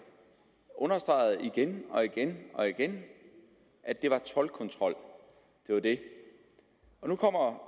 understreget igen og igen og igen at det var toldkontrol det var det nu kommer